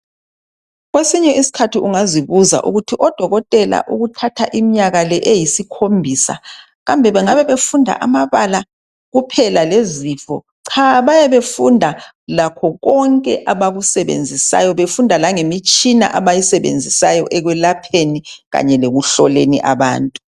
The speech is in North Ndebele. Kwesinye isikhathi ungazibuza ukuthi odokotela ukuthatha iminyaka le eyisikhombisa kambe bengabe befunda amabala kuphela lezifo, cha bayabe befunda lakho konke abakusebenzisayo befunda langemitshina abayisebenzisayo ekwelapheni kanye lekuhloleni abantu.